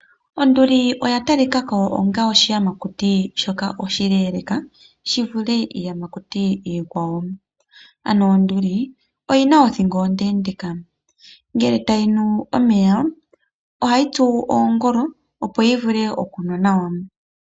Onduli oya talikao onga oshiyamakuti shoka oshileleeka, shivule iiyamakuti iikwawo. Ano onduli, oyina othingo ondendeeka. Ngele tayinu omeya, ohayi tsu oongolo, opo yivule okunwa nawa.